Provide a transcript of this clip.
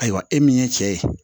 Ayiwa e min ye cɛ ye